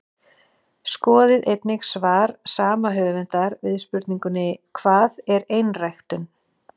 Skoðið einnig svar sama höfundar við spurningunni Hvað er einræktun?